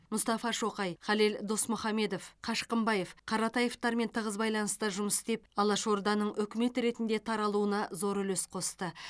мұстафа шоқай халел досмұхамедов қашқынбаев қаратаевтармен тығыз байланыста жұмыс істеп алашорданың үкімет ретінде таралуына зор үлес қосты